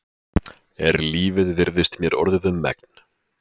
Er lífið virðist mér orðið um megn.